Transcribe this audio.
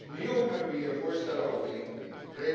Opnieuw hebben we hier voorstellen over ingediend.